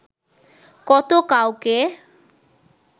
কত কাউকে